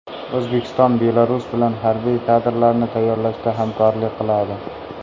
O‘zbekiston Belarus bilan harbiy kadrlarni tayyorlashda hamkorlik qiladi.